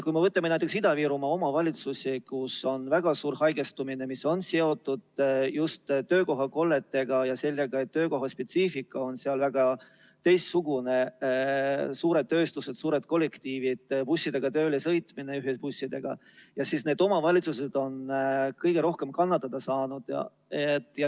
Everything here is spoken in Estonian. Kui me võtame näiteks Ida-Virumaa omavalitsused, kus on väga suur haigestumine, mis on seotud just töökohakolletega ja sellega, et töökohaspetsiifika on seal hoopis teistsugune – suured tööstused, suured kollektiivid, tööle sõitmine bussidega jne –, siis võib öelda, et need omavalitsused on kõige rohkem kannatada saanud.